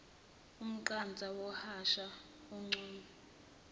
umqansa wahosha umucu